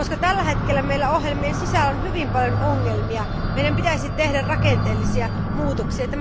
Tällä hetkellä näiden ohjelmien sisällä on hyvin paljon ongelmia ja meidän pitäisi tehdä rakenteellisia muutoksia.